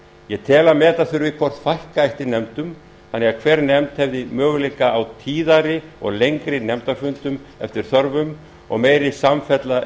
ég tel að meta þurfi hvort fækka ætti nefndum þannig að hver nefnd hefði möguleika á tíðari og lengri nefndafundum eftir þörfum og meiri samfella